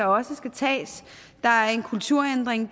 også skal tages der er en kulturændring